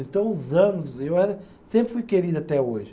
Então, os anos. E eu era, sempre fui querido até hoje.